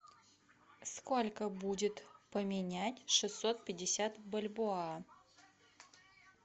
сколько будет поменять шестьсот пятьдесят бальбоа